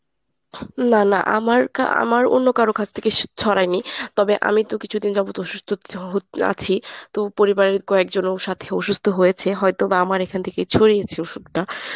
না না আমার কা আমার অন্য কারো কাছ থেকে ছড়ায়নি। তবে আমি তো কিছুদিন যাবত অসুস্থ আছি তো পরিবারের কয়েকজনেও সাথে অসুস্থ হয়েছে। হয়ত বা আমার এখান থেকে ছড়িয়েছে অসুখটা।